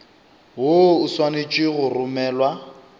woo o swanetše go romelwa